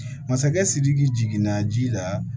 Masakɛ sidiki jiginna ji la